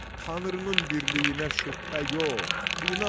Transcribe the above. Tanrının birliyinə şübhə yox, inan!